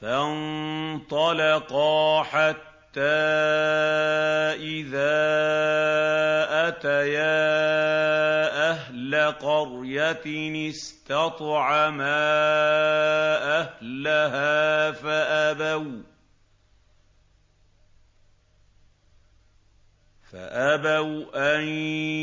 فَانطَلَقَا حَتَّىٰ إِذَا أَتَيَا أَهْلَ قَرْيَةٍ اسْتَطْعَمَا أَهْلَهَا فَأَبَوْا أَن